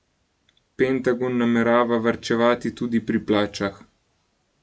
Pentagon namerava varčevati tudi pri plačah.